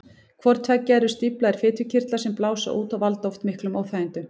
Hvort tveggja eru stíflaðir fitukirtlar sem blása út og valda oft miklum óþægindum.